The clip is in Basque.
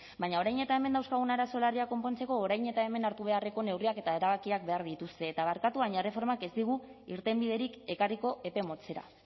baina orain eta hemen dauzkagun arazo larria konpontzeko orain eta hemen hartu beharreko neurriak eta erabakiak behar dituzte eta barkatu baina erreformak ez digu irtenbiderik ekarriko epe motzera